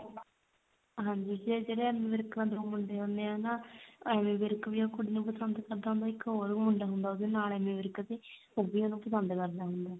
ਹਾਂਜੀ ਤੇ ਜਿਹੜਾ ਐਮੀ ਵਿਰਕ ਮਤਲਬ ਮੁੰਡੇ ਹੁੰਦੇ ਆ ਨਾ ਐਮੀ ਵਿਰਕ ਵੀ ਉਹ ਕੁੜੀ ਨੂੰ ਪਸੰਦ ਕਰਦਾ ਹੁੰਦਾ ਇੱਕ ਹੋਰ ਵੀ ਮੁੰਡਾ ਹੁੰਦਾ ਉਹਦੇ ਨਾਲ ਐਮੀ ਵਿਰਕ ਦੇ ਉਹ ਵੀ ਉਹਨੂੰ ਪਸੰਦ ਕਰਦਾ ਹੁੰਦਾ